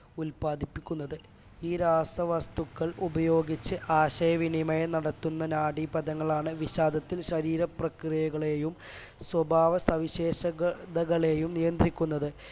ഉല്പാദിപ്പിക്കുന്നത് ഈ രാസവസ്തുക്കൾ ഉപയോഗിച്ച് ആശയവിനിമയം നടത്തുന്ന നാഡിപദങ്ങളാണ് വിഷാദത്തിൽ ശരീര പ്രക്രിയകളെയും സ്വഭാവ സവിശേഷതകളെയും നിയന്ത്രിക്കുന്നത്